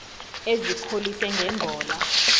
ezikholise nge mbola